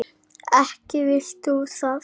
Ekki vilt þú það?